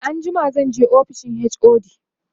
e anjima zanje ofishin HOD